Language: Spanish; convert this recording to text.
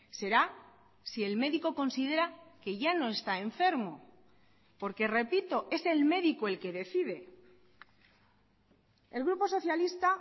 será si el médico considera que ya no está enfermo porque repito es el médico el que decide el grupo socialista